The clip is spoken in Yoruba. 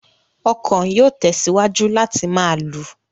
Ọ̀kan yóò tẹ̀síwájú láti máa lù.